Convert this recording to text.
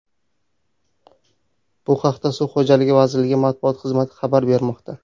Bu haqda Suv xo‘jaligi vazirligi matbuot xizmati xabar bermoqda .